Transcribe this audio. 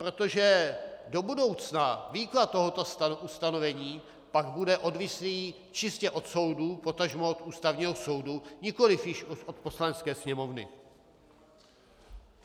Protože do budoucna výklad tohoto ustanovení pak bude odvislý čistě od soudu, potažmo od Ústavního soudu, nikoli již od Poslanecké sněmovny.